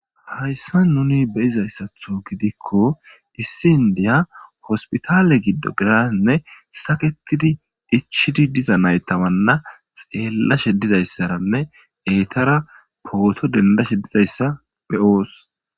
Ayssa nuni beyizayssatho gidikko issi indiya hospitale giddo girainne saketidi ichidi diza naytawanna xeellashe dizayssaranne eetara pooto dendashe dizayssa be oos.